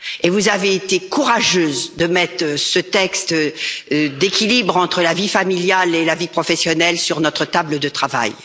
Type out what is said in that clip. Vous avez été courageuse de mettre ce texte relatif à l'équilibre entre la vie familiale et la vie professionnelle sur notre table de travail.